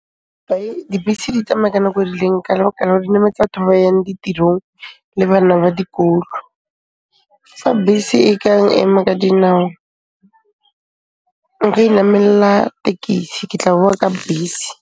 Dibese di tsamaya ka nako e rileng ka lebaka la ore di nametsa batho ba ba yang ditirong le bana ba dikolo. Fa bese e ka ema ka dinao, nka inamella tekisi, ke tla boa ka bese.